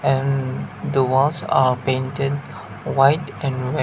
then the walls are painted white and red.